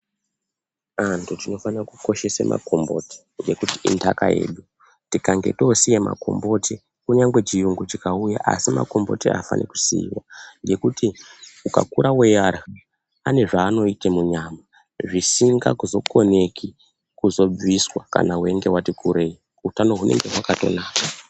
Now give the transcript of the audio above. Antu tinofana kukoshese makomboti, ngekuti indaka yedu, tikange toosiya makomboti, kunyangwe chiyungu chingauya asi makomboti afani kusiiwa ngekuti ukakura weiarya, ane zvaanoite munyama zvisinga koneki kuzobviswa kana wati kurei, utano hunenge hwakatonaka.